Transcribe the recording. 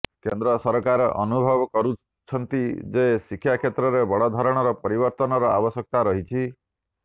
କେନ୍ଦ୍ର ସରକାର ଅନୁଭବ କରୁଛନ୍ତି ଯେ ଶିକ୍ଷା କ୍ଷେତ୍ରରେ ବଡ଼ ଧରଣର ପରିବର୍ତ୍ତନର ଆବଶ୍ୟକତା ରହିଛି